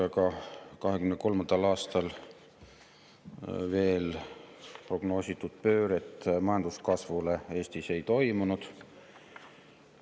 2023. aastal prognoositud pööret majanduskasvule Eestis veel ei toimunud.